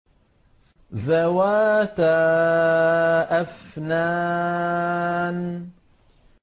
ذَوَاتَا أَفْنَانٍ